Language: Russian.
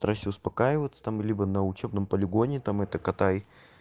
старайся успокаиваться там либо на учебном полигоне там это катай